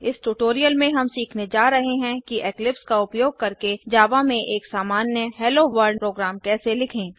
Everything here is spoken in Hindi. इस ट्यूटोरियल में हम सीखने जा रहे हैं कि इक्लिप्स का उपयोग करके जावा में एक सामान्यHello Worldहेलो वर्ल्ड प्रोग्राम कैसे लिखें